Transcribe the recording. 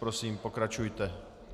Prosím, pokračujte.